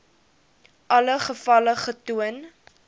alle gevalle getoon